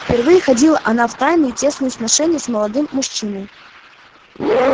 впервые ходила она в тайные тесные сношения с молодым мужчиною